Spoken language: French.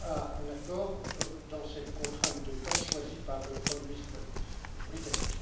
à un accord dans cette contrainte de temps choisie par le premier ministre britannique.